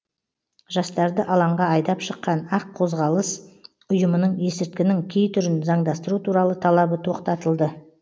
жастарды алаңға айдап шыққан ақ қозғалыс ұйымының есірткінің кей түрін заңдастыру туралы талабы тоқтатылды